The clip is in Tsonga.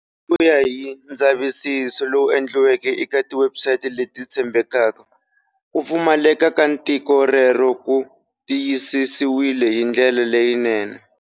Hi ku ya hi ndzavisiso lowu endliweke eka tiwebsite leti tshembekaka, ku pfumaleka ka tiko rero ku tiyisisiwile hi ndlela leyinene.